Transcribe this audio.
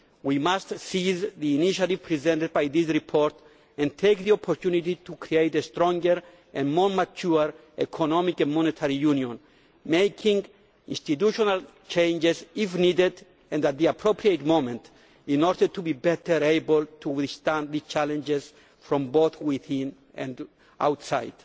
We must seize the initiative presented by this report and take the opportunity to create a stronger and more mature economic and monetary union, making institutional changes if needed and at the appropriate moment, in order to be better able to withstand the challenges from both within and outside.